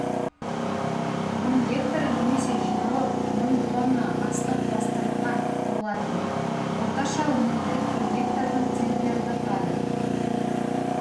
мың гектары немесе жиналып мың тонна астық бастырылған болатын орташа өнімділік бір гектардан центнерді құрады